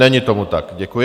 Není tomu tak, děkuji.